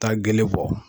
Taa gele bɔ